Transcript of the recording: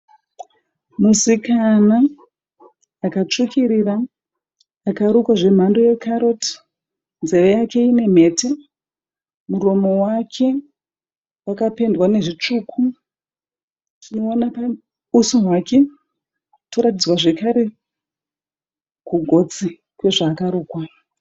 Musikana akatsvukirira Akarukwa zvemhando yekaroti. Nzeve yake ine mhete. Muromo wake wakapendwa nezvitsvuku. Tinoona usu hwake toratidzwa zvekare kugotsi kwezvaakarukwa.